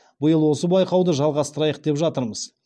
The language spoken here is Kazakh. биыл осы байқауды жалғастырайық деп жатырмыз